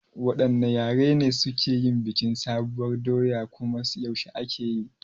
Waɗanne yare ne suke yin bikin sabuwar doya kuma yaushe ake yi?